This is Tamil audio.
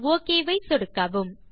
கடைசியாக ஒக் ஐ சொடுக்கவும்